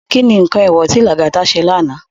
Ki ni nkán éwò ti Lagata sé lànå?